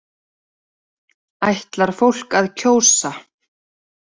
Ætlar fólk að kjósa